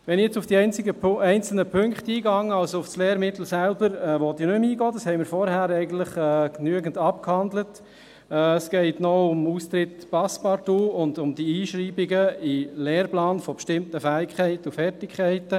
Wenn ich jetzt auf die einzelnen Punkte eingehe – auf das Lehrmittel selber will ich nicht mehr eingehen, das haben wir vorhin eigentlich genügend abgehandelt –, geht es noch um den Austritt Passepartout und die Einschreibungen in den Lehrplan von bestimmten Fähigkeiten und Fertigkeiten.